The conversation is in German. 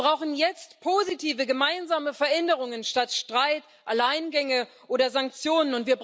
Wir brauchen jetzt positive gemeinsame Veränderungen statt Streit, Alleingänge oder Sanktionen.